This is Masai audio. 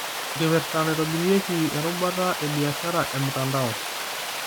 Enkipirta naitobirieki erubata ebiashara emtandao.